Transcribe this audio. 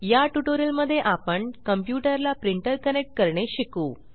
या ट्यूटोरियल मध्ये आपण कंप्यूटर ला प्रिंटर कनेक्ट करणे शिकू